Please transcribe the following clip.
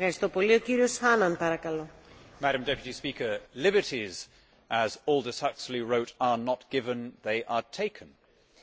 Madam President, liberties, as Aldous Huxley wrote, are not given, they are taken.